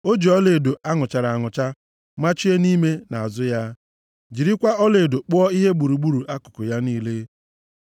O ji ọlaedo a nụchara anụcha machie nʼime na azụ ya, jirikwa ọlaedo kpụọ ihe gburugburu akụkụ ya niile.